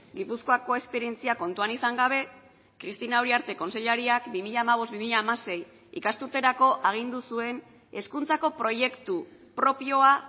gipuzkoako esperientzia kontuan izan gabe cristina uriarte kontseilariak bi mila hamabost bi mila hamasei ikasturterako agindu zuen hezkuntzako proiektu propioa